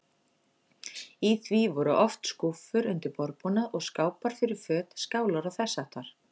Í því voru oft skúffur undir borðbúnað og skápar fyrir föt, skálar og þess háttar.